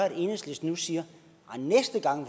at enhedslisten nu siger at næste gang